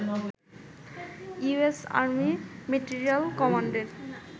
US army material কমান্ডের